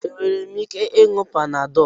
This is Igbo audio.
Enwere m ike ị nuo Panadol?